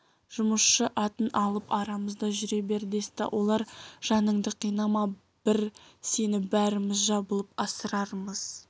жұмысшы атын алып арамызда жүре бер десті олар жаныңды қинама бір сені бәріміз жабылып асырармыз